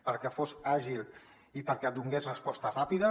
perquè fos àgil i perquè donés resposta ràpida